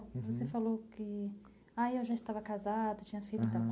Você falou que, ãh já estava casado, tinha filhos e tal, aham.